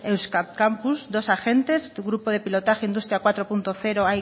euskampus dos agentes grupo de pilotaje industria cuatro punto cero